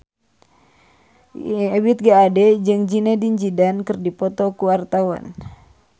Ebith G. Ade jeung Zidane Zidane keur dipoto ku wartawan